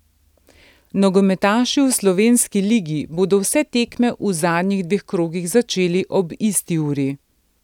Nogometaši v slovenski ligi bodo vse tekme v zadnjih dveh krogih začeli ob isti uri.